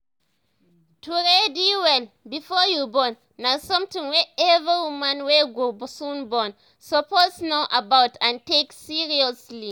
to ready well before you born na something wey every woman wey go soon born suppose know about and take seriously